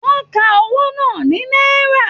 Wọn ká owó náà ní náírà.